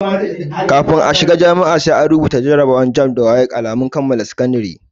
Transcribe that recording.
Kafin a shiga jami'a, sai an rubuta jarabawa ta "JAMB" da kuma "WAEC" wacce ke nuna alamun kammala karatun sakandare.